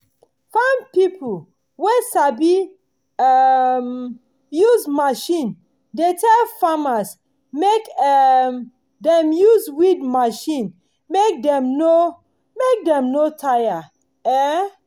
farm pipo wey sabi um use machine de tell farmers make um dem use weed machine mek dem no mek dem no tire um